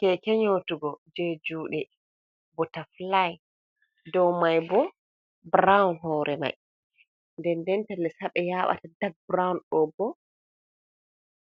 Keke nyotugo je juɗe bota fulai, dow mai bo burawun hore mai, nden ndenta les haɓe yaɓata dak burawun ɗo bo